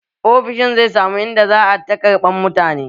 Ofishin zai samu in da za a ta ƙarɓan mutane